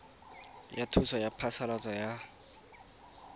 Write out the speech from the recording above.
ya thuso ya phasalatso ya